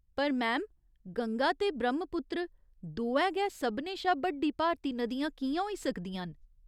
पर मैम, गंगा ते ब्रह्मपुत्र दोऐ गै सभनें शा बड्डी भारती नदियां कि'यां होई सकदियां न ?